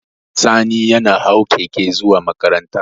Sani ya hau keke zuwa makaranta